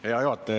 Hea juhataja!